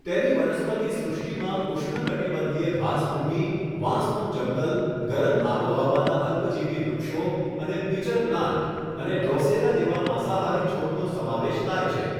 તેની વનસ્પતિ સૃષ્ટિમાં ઉષ્ણકટિબંધીય ઘાસભૂમિ, વાંસનું જંગલ, ગરમ આબોહવાના અલ્પજીવી વૃક્ષો અને પિચર પ્લાન્ટ અને ડ્રોસેરા જેવા માંસહારી છોડનો સમાવેશ થાય છે.